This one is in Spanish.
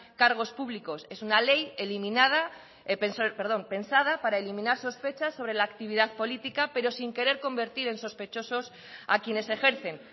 cargos públicos es una ley eliminada perdón pensada para eliminar sospechas sobre la actividad política pero sin querer convertir en sospechosos a quienes ejercen